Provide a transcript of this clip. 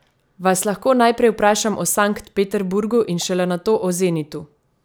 Vas lahko najprej vprašam o Sankt Peterburgu in šele nato o Zenitu?